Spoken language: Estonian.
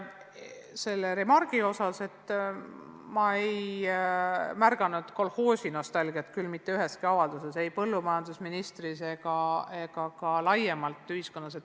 Selle remargi kohta – ma ei märganud kolhoosinostalgiat küll mitte üheski avalduses, ei põllumajandusministri omas ega ühiskonnas laiemalt.